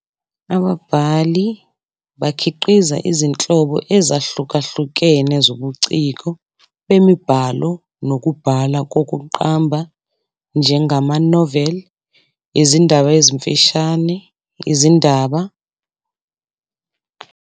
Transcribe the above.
Ababhali bakhiqiza izinhlobo ezahlukahlukene zobuciko bemibhalo nokubhala kokuqamba njengamanoveli, izindaba ezimfishane, izincwadi, izinkondlo, imidlalo yeshashalazi, imidlalo yesikrini, izingcingo, izingoma nezindatshana kanye neminye imibiko nezindatshana zezindaba ezingaba nentshisekelo emphakathini.